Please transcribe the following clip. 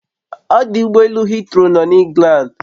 Odụ ụgbọ elu heathrow nọ na Englandi